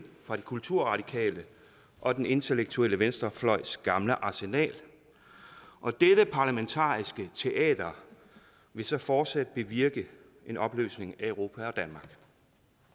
fra de kulturradikale og den intellektuelle venstrefløjs gamle arsenal og dette parlamentariske teater vil så fortsat bevirke en opløsning af europa